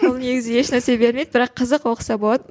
ол негізі еш нәрсе бермейді бірақ қызық оқыса болады